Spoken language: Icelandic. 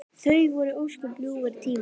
Það voru ósköp ljúfir tímar.